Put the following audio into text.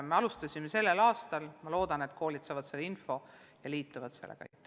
Me alustasime sellel aastal ja ma loodan, et koolid saavad selle info ja kasutavad seda võimalust.